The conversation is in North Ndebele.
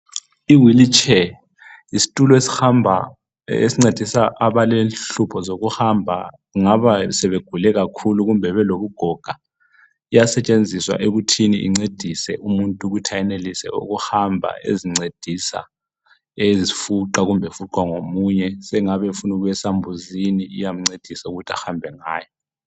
I wheelchair yistulo esihamba esincedisa abalenhlupho zokuhamba, kungaba sebegule kakhulu kumbe belobugoga. Iyasetshenziswa ekutheni incedise umuntu ukuthi ayenelise ukuhamba ezincedisa ezifuqa kumbe efuqwa ngomunye, sengabe efuna ukuya esambuzini iyamncedisa ukuthi ahambe ngayo.